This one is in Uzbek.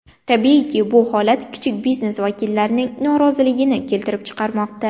Tabiiyki, bu holat kichik biznes vakillarining noroziligini keltirib chiqarmoqda.